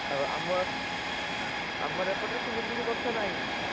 ଆଉ ଆମ ଏପଟରେ ସେମିତି କିଛି ବର୍ଷା ବର୍ଷା ନାହି